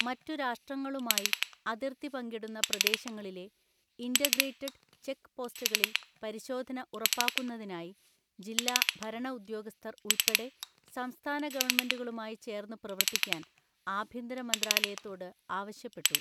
മറ്റു രാഷ്ട്രങ്ങളുമായി, അതിർത്തി പങ്കിടുന്ന പ്രദേശങ്ങളിലെ, ഇൻറ്റർഗ്രേറ്റഡ് ചെക്ക് പോസ്റ്റുകളില് പരിശോധന ഉറപ്പാക്കുന്നതിനായി, ജില്ലാ ഭരണ ഉദ്യോഗസ്ഥർ ഉൾപ്പെടെ സംസ്ഥാന ഗവണ്മെന്റുകളുമായി ചേര്ന്നു പ്രവര്ത്തിക്കാന് ആഭ്യന്തര മന്ത്രാലയത്തോട് ആവശ്യപ്പെട്ടു.